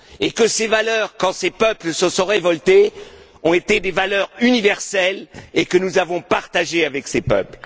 Que ces valeurs, quand ces peuples se sont révoltés, ont été des valeurs universelles que nous avons partagées avec eux.